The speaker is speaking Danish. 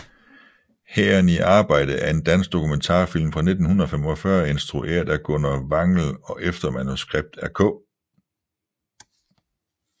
Hæren i arbejde er en dansk dokumentarfilm fra 1945 instrueret af Gunnar Wangel og efter manuskript af K